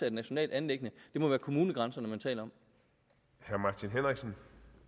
et nationalt anliggende det må være kommunegrænserne man taler om